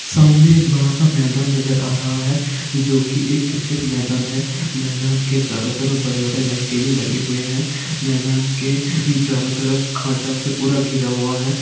ये सामने एक बड़ा सा मैदान नजर आ रहा है जो की एक क्रिकेट मैदान है मैदान के चारो तरफ बड़े बड़े एक लाइट भी लगी हुई है मैदान के चारो तरफ खाँचा से पूरा घिरा हुआ है।